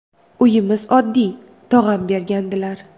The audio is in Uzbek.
Uyimiz oddiy, tog‘am bergandilar.